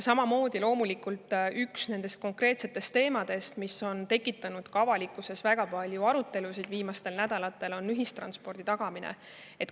Ja loomulikult üks nendest konkreetsetest teemadest, mis on tekitanud avalikkuses väga palju arutelusid viimastel nädalatel, on ühistranspordi tagamine.